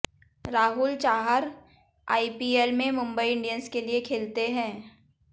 Rahul Chahar IPL में Mumbai Indians के लिए खेलते हैं